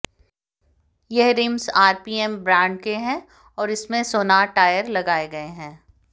यह rims RPM brand के है और इसमें सोनार टायर लगाये गये हैं